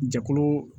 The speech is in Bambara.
Jɛkulu